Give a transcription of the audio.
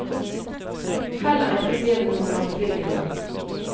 Heller ikke blir det noen nattflyvninger.